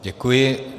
Děkuji.